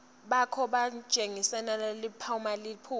bakho bunjengelilanga liphuma